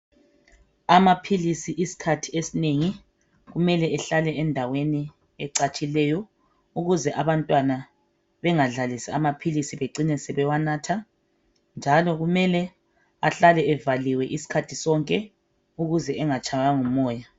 Amaphilisi iskhathi esinengi kumele ahlale endaweni ecatshileyo ukuze abantwana bengadlalisi amaphilisi becine sebewanatha njalo kumele ahlale evaliwe isikhathi sonke ukuze engatshaywa ngumoya